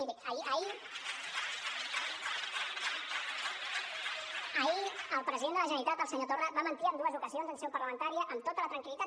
miri ahir el president de la generalitat el senyor torra va mentir en dues oca·sions en seu parlamentària amb tota la tranquil·litat